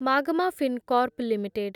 Magma Fincorp limited